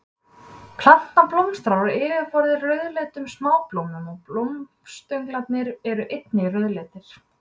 Plantan blómstrar á yfirborði rauðleitum smáblómum og blómstönglarnir eru einnig rauðleitir.